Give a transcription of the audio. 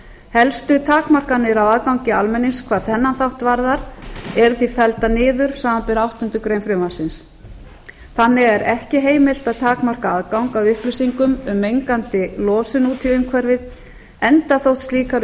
helstu takmarkanir á aðgangi almennings hvað þennan þátt varðar eru því felldar niður samanber áttundu greinar frv þannig er ekki heimilt að takmarka aðgang að upplýsingum um mengandi losun út í umhverfið enda þótt slíkar